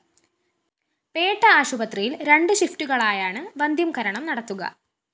പേട്ട ആശുപത്രിയില്‍ രണ്ട് ഷിഫ്റ്റുകളായാണ് വന്ധ്യംകരണം നടത്തുക